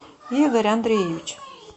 игорь андреевич